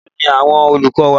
Mélòó ni àwọn olùkọ́ wa?